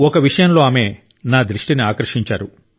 ఒక విషయం లో ఆమె నా దృష్టిని ఆకర్షించారు